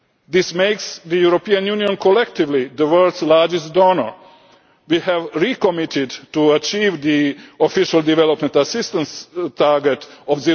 This makes the European Union collectively the world's largest donor. We have recommitted to achieving the official development assistance target of